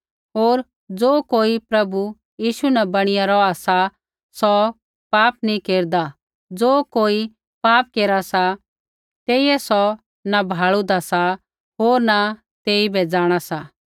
होर ज़ो कोई प्रभु यीशु न बणीया रौहा सा सौ पाप नैंई केरदा ज़ो कोई पाप केरा सा तेइयै सौ न भाल़ुदा सा होर न तेइबै जाँणा सा